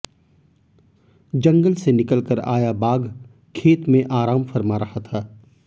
जंगल से निकलकर आया बाघ खेत में आराम फरमा रहा था